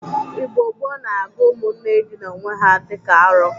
Igbo gboo na-agụ ụmụnne ịdịna owe ha dị ka arọ.